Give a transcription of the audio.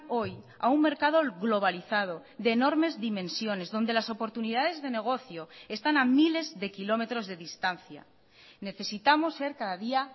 hoy a un mercado globalizado de enormes dimensiones donde las oportunidades de negocio están a miles de kilómetros de distancia necesitamos ser cada día